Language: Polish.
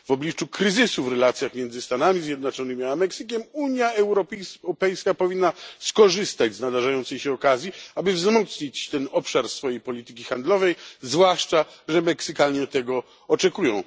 W obliczu kryzysu w relacjach między Stanami Zjednoczonymi a Meksykiem, Unia Europejska powinna skorzystać z nadarzającej się okazji, aby wzmocnić ten obszar swojej polityki handlowej, zwłaszcza że Meksykanie tego oczekują.